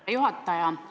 Hea juhataja!